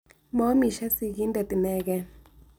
Moomishe sigindet inegee.